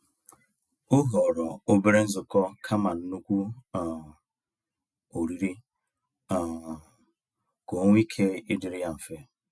O họrọ obere nzukọ kama nnukwu um oriri um ka ọnwe ike ịdịrị ya mfe.